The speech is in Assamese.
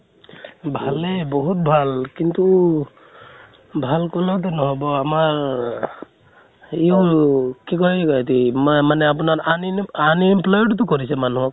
ভালে, বহুত ভাল কিন্তু ভাল কলেও টো নহব, আমাৰ ৰ কি কয় অতি মা মানে আপোনাৰ আনিএম unemployed তো কৰিছে মানুহক